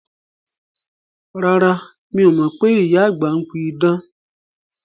Rárá, mi o mọ pé ìyá àgbà ń pí idán